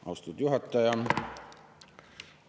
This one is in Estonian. Austatud juhataja!